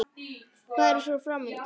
Hvað er svo fram undan?